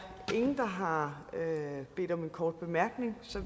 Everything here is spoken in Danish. ingen der har bedt om en kort bemærkning så